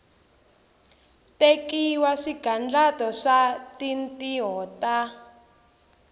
tekiwa swigandlato swa tintiho ta